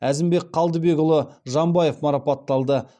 әзімбек қалдыбекұлы жамбаев марапатталды